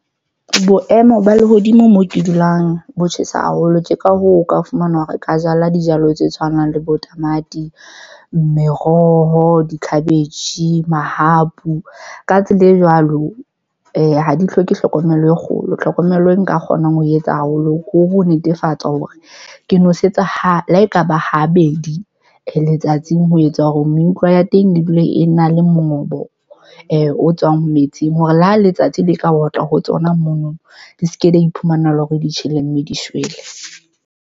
Boemo ba lehodimo mo ke dulang bo tjhesa haholo. Ke ka hoo, o ka fumana hore ka jala dijalo tse tshwanang le bo tamati, meroho, di-cabbage, mahapu. Ka tsela e jwalo ha di hloke hlokomelo e kgolo. Tlhokomelo e nka kgonang ho etsa haholo ko ho netefatsa hore ke nosetsa ha le ha e ka ba ha bedi letsatsing. Ho etsa hore meutlwa ya teng e dula e na le mongobo o tswang metsing. Hore le ha letsatsi le ka otla ho tsona mono di seke la iphumana e le hore di tjhele mme di shwele.